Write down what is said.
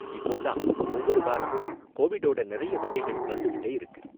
இப்போலாம் ஒவ்வொரு வாரமும் கோவிட்டோட நிறைய வகைகள் வந்துக்கிட்டே இருக்கு.